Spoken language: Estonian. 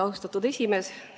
Austatud esimees!